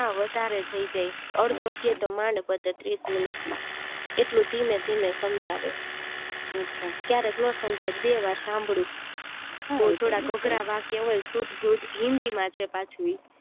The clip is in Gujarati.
ના વધારે થય જાય અડધો અધ્યાય તો માંડ પતે ત્રીસ minute માં એટલું ધીમે ધીમે સંજાવે ક્યારેક નો સમજાય બે વાર સાંભળું હું થોડુક અઘરા વાક્ય હોય શુદ્ધ હિન્દી માં છે પાછુ ઈ